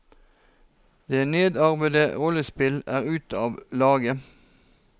Det nedarvede rollespill er ute av lage.